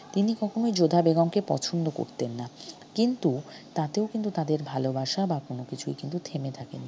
তিনি কখনই যোধা বেগমকে পছন্দ করতেন না কিন্তু তাতেও কিন্তু তাদের ভালবাসা বা কোন কিছুই কিন্তু থেমে থাকে নি।